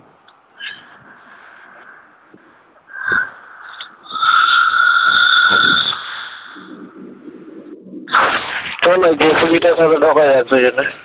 চল ওই জেসিবি টা তাহলে ঢোকা যাক দুজনে